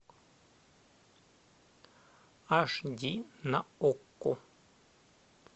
аш ди на окко